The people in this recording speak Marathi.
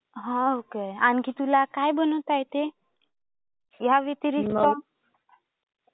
हां. ओके. आणखी तुला काय बनवता येते? ह्या व्यतिरिक्त.